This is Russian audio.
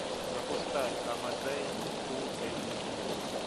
запускай амадей фул эйч ди